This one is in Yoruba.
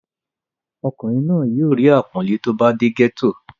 ọkùnrin náà yóò rí àpọ́nlé tó bá dé gẹ́tò